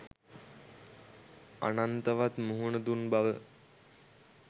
අනන්තවත් මුහුණ දුන් බව